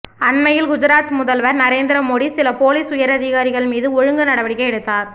அன்மையில் குஜராத் முதல்வர் நரேந்திர மோடி சில போலீஸ் உயர் அதிகாரிகள் மீது ஒழுங்கு நடவடிக்கை எடுத்தார்